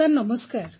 sir ନମସ୍କାର